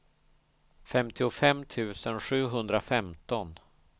femtiofem tusen sjuhundrafemton